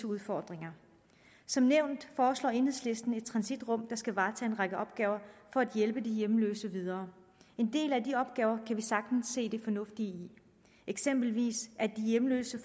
udfordringer som nævnt foreslår enhedslisten et transitrum der skal varetage en række opgaver for at hjælpe de hjemløse videre en del af de opgaver kan vi sagtens se det fornuftige i eksempelvis at de hjemløse